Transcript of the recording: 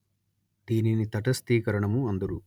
దీనిని తటస్థీకరణము అందురు